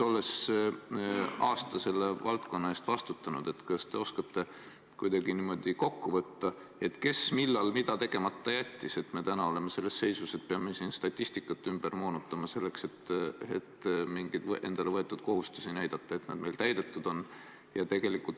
Olles aasta selle valdkonna eest vastutanud, kas te oskate kuidagi kokku võtta, kes millal mida tegemata jättis, et me täna oleme selles seisus, et peame statistikat moonutama, et näidata, et oleme endale võetud kohustusi täitnud?